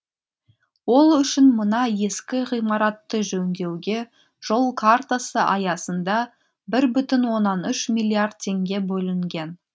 ол үшін мына ескі ғимаратты жөндеуге жол картасы аясында бір бүтін оннан үш миллиард теңге бөлінген